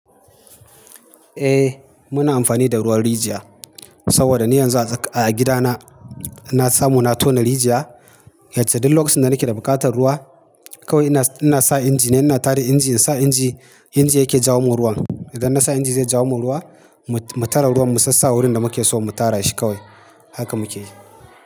Eh muna amfani da ruwan rijiya saboda ni yanzu a, a gida na, na samu na tona rijiya. Yacce duk lokacin da nake da buƙatar ruwa kawai ina, ina sa inji ne, ina tada inji, insa inji, inji yake jawo mun ruwan. Idan na sa inji zai jawo mun ruwa, mu, mu tara ruwan mu sassa wurin da muke so mu tara shi kawai. Haka muke yi.